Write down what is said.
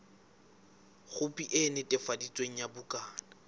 khopi e netefaditsweng ya bukana